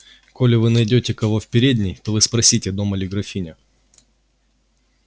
коли вы найдёте кого в передней то вы спросите дома ли графиня